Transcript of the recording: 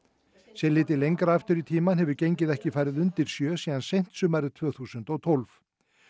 sé litið lengra aftur í tímann hefur gengið ekki farið undir sjö síðan seint sumarið tvö þúsund og tólf